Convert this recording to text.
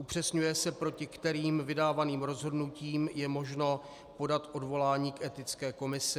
Upřesňuje se, proti kterým vydávaným rozhodnutím je možno podat odvolání k Etické komisi.